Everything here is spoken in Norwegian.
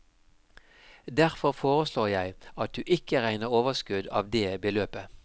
Derfor foreslår jeg at du ikke regner overskudd av det beløpet.